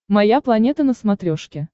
моя планета на смотрешке